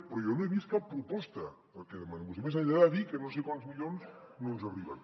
però jo no he vist cap proposta del que demanà vostè més enllà de dir que no sé quants milions no ens arriben